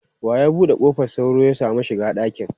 Wa ya bude kofar sauro ya samu shiga dakin?